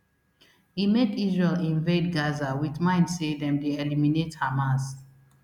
e make israel invade gaza wit mind say dem dey eliminate hamas